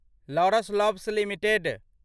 Laurus Labs limited